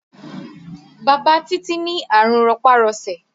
Bàbá Títí ní àrùn rọpá-rọṣẹ̀